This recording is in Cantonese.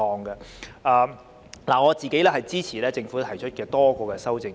我支持政府提出的多項修正案。